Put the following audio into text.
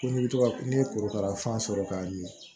Ko n'i bɛ to ka n'i ye korokara fan sɔrɔ k'a ɲɛ